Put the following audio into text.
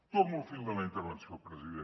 torno al fil de la intervenció president